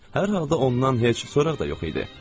Hər halda ondan heç soraq da yox idi.